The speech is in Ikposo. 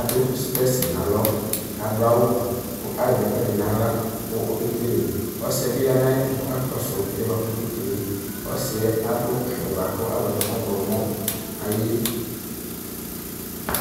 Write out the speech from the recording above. adʋ spensi nʋ alɔ kʋ adʋ awʋ kʋ azɛ ɛkʋedi nʋ aɣla kʋ okekele ɔsidibi yanʋ ayʋ ɛtʋ kʋ ɔkakɔsʋ ɛsɛ kʋ ɔkekele ɔsi yɛ adʋ awʋyɛ kʋ azɔnʋ ɔwlɔmɔ